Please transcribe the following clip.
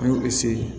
An y'o